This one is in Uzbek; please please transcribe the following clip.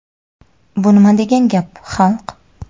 Bu nima degan gap, xalq.